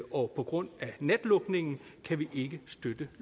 og på grund af natlukningen kan vi ikke støtte